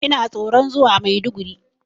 Ina tsoron zuwa Maiduguri.